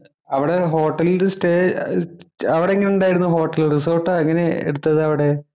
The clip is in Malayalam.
അവിടെ ഹോട്ടലില്‍ സ്റ്റേ ഏർ അവിടെങ്ങനെ ഉണ്ടായിരുന്നു ഹോട്ടലില്‍ റിസോര്‍ട്ടോ എങ്ങനെയാ എടുത്തത് അവിടെ?